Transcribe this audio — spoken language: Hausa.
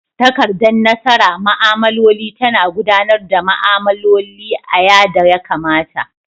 takardan nasara ma'amloli ta na gudanar da ma'amloli a ya da ya kamata.